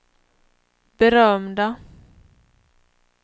berömda